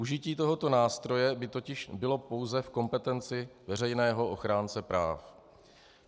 Užití tohoto nástroje by totiž bylo pouze v kompetenci veřejného ochránce práv.